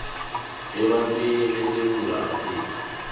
ebantwini besewula afrika